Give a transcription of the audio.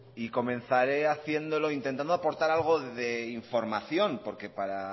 y comenzaré haciéndolo intentando aportar algo de información porque para